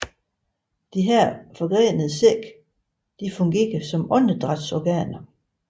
Disse forgrenede sække fungerer som åndedrætsorganer